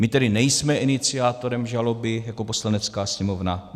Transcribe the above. My tedy nejsme iniciátorem žaloby jako Poslanecká sněmovna.